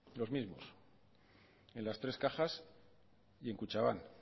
los mismos en las tres cajas y en kutxabank